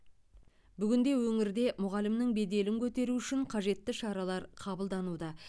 бүгінде өңірде мұғалімнің беделін көтеру үшін қажетті шаралар қабылдануда